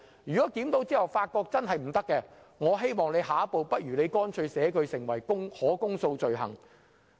如果在檢討後發現有不妥當之處，我希望政府下一步可把相關罪行訂為可公訴罪行。